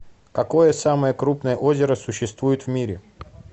какое самое крупное озеро существует в мире